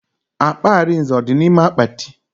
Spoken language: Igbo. Akpa Arinze ọ dị n'ime akpati?